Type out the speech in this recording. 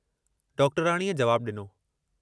डाक्टर्याणीअ जवाबु ॾिनो।